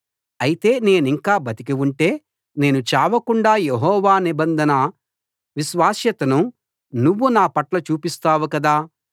అయితే నేనింకా బతికి ఉంటే నేను చావకుండా యెహోవా నిబంధన విశ్వాస్యతను నువ్వు నా పట్ల చూపిస్తావు కదా